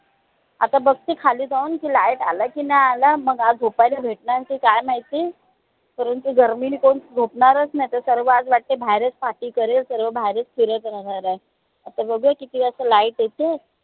आता बघते खाली जाऊन की, light आला कि नई आला मग आज झोपायला भेटणार की काय माहिती परंतु गर्मीनी कोणी झोपणारच नई ते सर्व आज वाटते बाहेर खा पी करेल सर्व बाहेरच फिरत राहणार आहे. आता बघूया किती वाजता light येते.